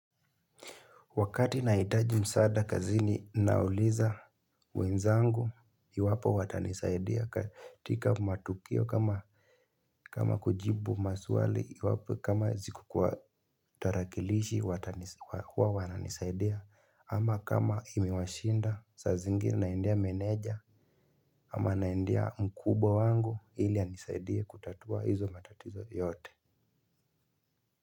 Wakati nahitaji msahada kazini nauliza wenzangu iwapo watanisaidia katika matukio kama kama kujibu maswali iwapo kama sikukuwa tarakilishi watanisaidia. Ama kama imewashinda sa zingine naendea meneja ama naendea mkubwa wangu ili anisaidie kutatua hizo matatizo yote.